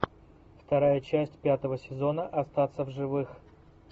вторая часть пятого сезона остаться в живых